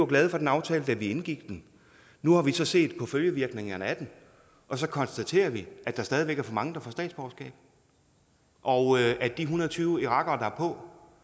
glade for den aftale da vi indgik den nu har vi så set på følgevirkningerne af den og så konstaterer vi at der stadig væk er for mange der får statsborgerskab og at de en hundrede og tyve irakere